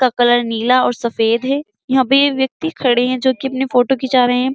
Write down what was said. का कलर नीला और सफ़ेद है। यहाँ पे ये व्यक्ति खड़े है जोकि अपनी फोटो खिचा रहे है।